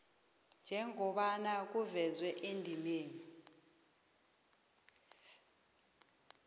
njengobana kuvezwe endimeni